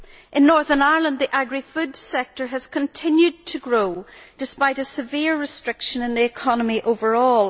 In Northern Ireland the agri food sector has continued to grow, despite a severe restriction in the economy overall.